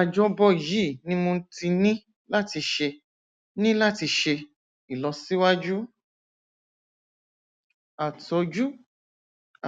àjọbọ yìí ni mo ti ní láti ṣe ní láti ṣe ìlọsíwájú àtọjú